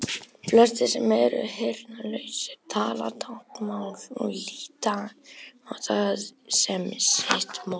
Flestir sem eru heyrnarlausir tala táknmál og líta á það sem sitt móðurmál.